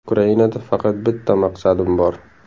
Ukrainada faqat bitta maqsadim bor.